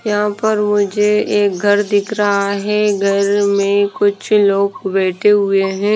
यहां पर मुझे एक घर दिख रहा है घर में कुछ लोग बैठे हुए हैं।